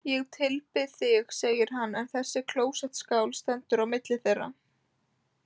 Ég tilbið þig, segir hann, en þessi klósettskál stendur á milli þeirra.